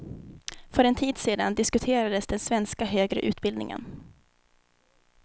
För en tid sedan diskuterades den svenska högre utbildningen.